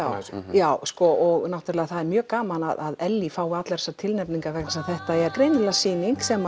já og það er mjög gaman að Ellý fái allar þessar tilnefningar vegna þess að þetta er greinilega sýning sem